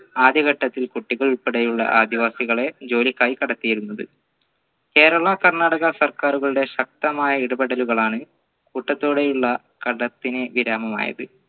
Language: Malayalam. ആദ്യഘട്ടത്തിൽ കുട്ടികൾപ്പെടെയുള്ള ആദിവാസികളെ ജോലിക്കായി കടത്തിയിരുന്നത് കേരള കർണാടക സർക്കാരുകളുടെ ശക്തമായ ഇടപെടലുകളാണ് കൂട്ടത്തോടെയുള്ള കടത്തിന് വിരാമം ആയത്